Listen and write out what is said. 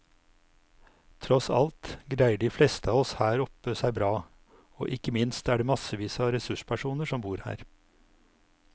Tross alt greier de fleste av oss her oppe seg bra, og ikke minst er det massevis av ressurspersoner som bor her.